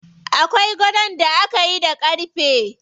Akwai gadon da akayi da ƙarfe.